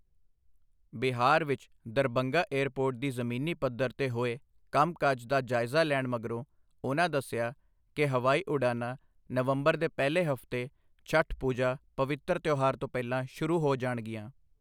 ਬਿਹਾਰ ਵਿਚ Darbhanga airport ਦੀ ਜ਼ਮੀਨੀ ਪੱਧਰ ਤੇ ਹੋਏ ਕੰਮ ਕਾਜ ਦਾ ਜਾਇਜਾ ਲੈਣ ਮਗਰੋਂ ਉਹਨਾ ਦਸਿਆ ਕਿ ਹਵਾਈ ਉਡਾਨਾ ਨਵੰਬਰ ਦੇ ਪਹਿਲੇ ਹਫਤੇ ਛਟ ਪੂਜਾ ਪਵਿੱਤਰ ਤਿਉਹਾਰ ਤੋਂ ਪਹਿਲਾਂ ਸ਼ੁਰੂ ਹੋ ਜਾਣਗੀਆਂ।